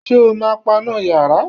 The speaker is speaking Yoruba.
Ṣé o ma paná yàrá?